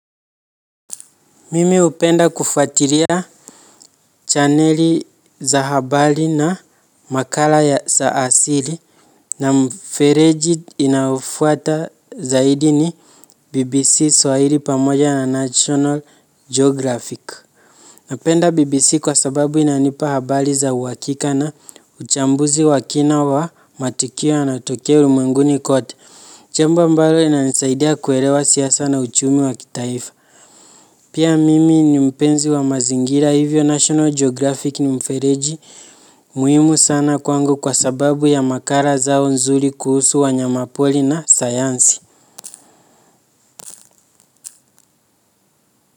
Mimi hupenda kufatiria chaneli za habali na makala ya sa asili. Na mfereji inaofuata zaidi ni BBC Swahiri pamoja na National Geographic. Napenda BBC kwa sababu inanipa habali za uhakika na uchambuzi wa kina wa matikio yanayotokea ulimwenguni kote. Chambo ambalo linanisaidia kuerewa siasa na uchumi wa kitaifa. Pia mimi ni mpenzi wa mazingira hivyo National Geographic ni mfereji muhimu sana kwangu kwa sababu ya makara zao nzuri kuhusu wanyama poli na sayansi.